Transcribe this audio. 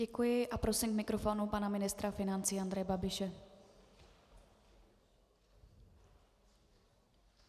Děkuji a prosím k mikrofonu pana ministra financí Andreje Babiše.